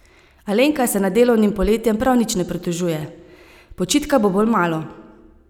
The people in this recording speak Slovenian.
Alenka se nad delovnim poletjem prav nič ne pritožuje: "Počitka bo bolj malo.